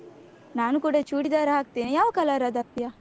ನಾನು ಕೂಡ ಚೂಡಿದಾರ್ ಹಾಕ್ತೇನೆ, ಯಾವ colour ಅದ್ದು ಹಾಕ್ತೀಯ?